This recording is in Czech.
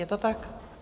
Je to tak?